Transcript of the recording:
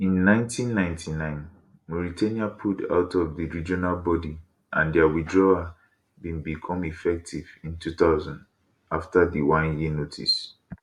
in 1999 mauritania pulled out of di regional body and dia withdrawal bin become effective in 2000 afta di oneyear notice